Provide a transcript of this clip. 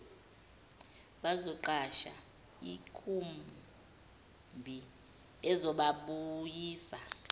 bazoqasha ikhumbi ezababuyisa